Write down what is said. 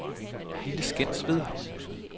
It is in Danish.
Lille Skensved